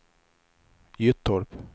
Gyttorp